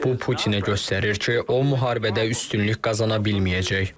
Bu Putinə göstərir ki, o müharibədə üstünlük qazana bilməyəcək.